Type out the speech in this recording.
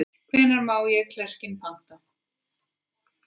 Hvenær má ég klerkinn panta?